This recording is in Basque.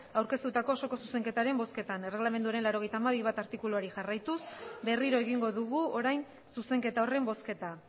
aurkeztutako osoko zuzenketaren bozketan erregelamenduaren laurogeita hamabi puntu bat artikuluari jarraituz berriro egingo dugu orain zuzenketa horren bozketa